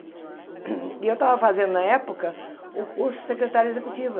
E eu tava fazendo na época o curso de secretária executiva.